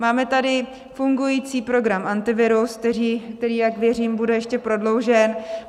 Máme tady fungující program Antivirus, který, jak věřím, bude ještě prodloužen.